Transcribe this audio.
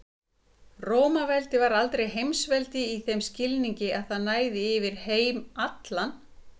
Rómaveldi var aldrei heimsveldi í þeim skilningi að það næði yfir heim allan.